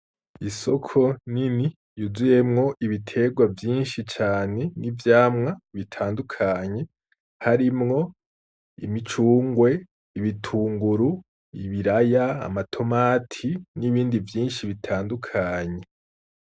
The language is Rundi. Isoko nini yuzuyemwo ibiterwa vyinshi cane n'ivyamwa bitandukanye, harimwo imicungwe, ibitunguru, ibiraya ,amatomati, n'ibindi vyinshi bitandukanye.